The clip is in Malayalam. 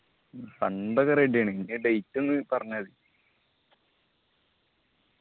fund ഒക്കെ ready ആണ്. date ഒന്ന് പറഞ്ഞാമതി